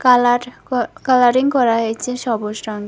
Colour ক colouring করা হয়েছে সবুজ রঙের।